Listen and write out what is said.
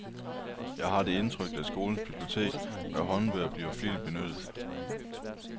Jeg har det indtryk, at skolens bibliotek med håndbøger bliver flittigt benyttet.